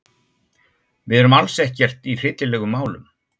Við erum alls ekkert í hryllilegum málum.